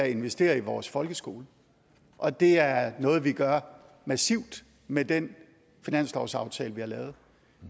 investere i vores folkeskole og det er noget vi gør massivt med den finanslovsaftale vi har lavet